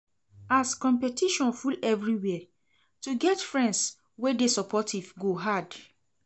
As competition full everywhere, to get friends wey dey supportive go hard.